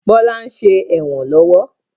Bọlá ń ṣe ẹ̀wọ̀n lọ́wọ́